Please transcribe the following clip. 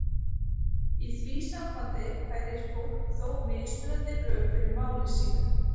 Í því sambandi færir fólk þó mismunandi rök fyrir máli sínu.